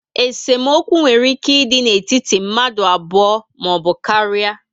Esemokwu nwere ike ịdị n'etiti mmadụ abụọ maọbụ karia